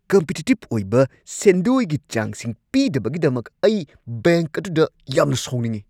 Competitive ꯑꯣꯏꯕ ꯁꯦꯟꯗꯣꯏꯒꯤ ꯆꯥꯡꯁꯤꯡ ꯄꯤꯗꯕꯒꯤꯗꯃꯛ ꯑꯩ ꯕꯦꯡꯛ ꯑꯗꯨꯗ ꯌꯥꯝꯅ ꯁꯥꯎꯅꯤꯡꯏ ꯫